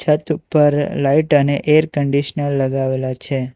છત ઉપર લાઈટ અને એર કન્ડિશનર લગાવેલા છે.